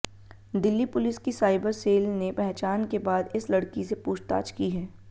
Delhi police की cyber cell ने पहचान के बाद इस लड़की से पूछताछ की है